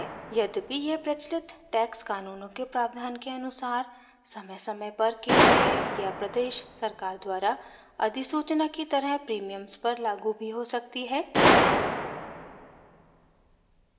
यद्यपि यह प्रचलित टैक्स कानूनों के प्रावधान के अनुसार समयसमय पर केंद्रीय या प्रदेश सरकार द्वरा अधिसूचना की तरह प्रीमियम्स पर लागू भी हो सकती है